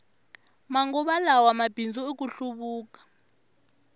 manguva lawa mabindzu i ku hluvuka